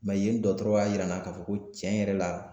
yen dɔgɔtɔrɔ y'a jira n na k'a fɔ ko tiɲɛ yɛrɛ la